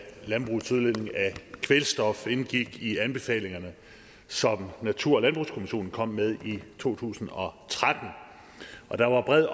landbrugets udledning af kvælstof indgik i anbefalingerne som natur og landbrugskommissionen kom med i to tusind og tretten og der var bred